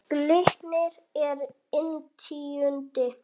Glitnir er inn tíundi